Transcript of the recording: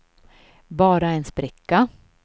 bara en spricka